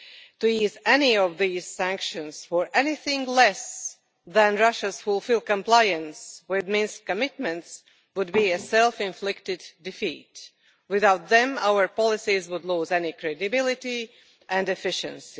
To ease any of these sanctions for anything less than Russia's full compliance with its Minsk commitments would be a self inflicted defeat. Without them, our policies would lose all credibility and efficiency.